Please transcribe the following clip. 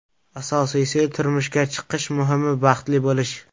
Asosiysi turmushga chiqish Muhimi baxtli bo‘lish.